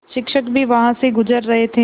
शिक्षक भी वहाँ से गुज़र रहे थे